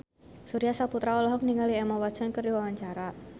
Surya Saputra olohok ningali Emma Watson keur diwawancara